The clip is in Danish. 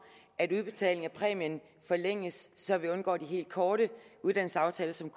at udbetalingen af præmien forlænges så vi undgår de helt korte uddannelsesaftaler som